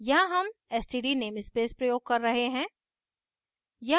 यहाँ हम std namespace प्रयोग कर रहे हैं